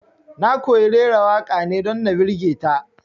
Na koyi raira waƙa ne don na birge ta